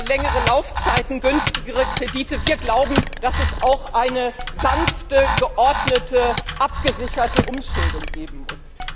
Längere Laufzeiten, günstigere Kredite wir glauben, dass es auch eine sanfte, geordnete, abgesicherte Umschuldung geben muss.